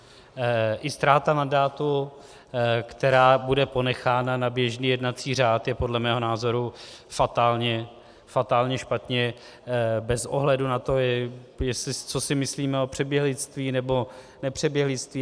I ztráta mandátu, která bude ponechána na běžný jednací řád, je podle mého názoru fatálně špatně bez ohledu na to, co si myslíme o přeběhlictví nebo nepřeběhlictví.